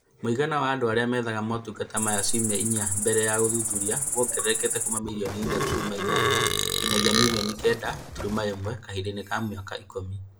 Mũigana wa andũ arĩa methaga motungata maya ciumia inya mbele ya ũthuthuria wongererekete kuuma milioni inya turuma inyanya nginyagia na milioni kenda turuma ĩmwe kahinda-inĩ ka mĩaka ikũmi